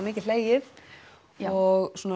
mikið hlegið og